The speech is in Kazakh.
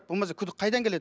болмаса күдік қайдан келеді